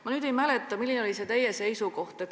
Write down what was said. Ma ei mäleta, milline oli teie seisukoht.